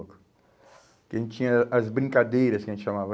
Porque a gente tinha as brincadeiras, que a gente chamava.